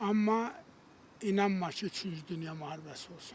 Amma inanma ki, üçüncü dünya müharibəsi olsun.